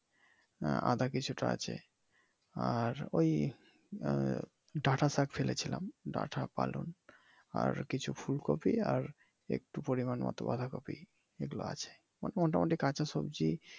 আদা কিছুটা আছে আর ওই ডাটা শাক ফেলেছিলাম ডাটা পালং আর কিছু ফুলকপি আর একটু পরিমান মত বাঁধা কপি এইগুলা আছে এই মোটামুটি কাঁচা সবজি।